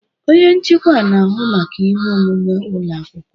Onye nchịkwa na-ahụ maka ihe omume ụlọ akwụkwọ.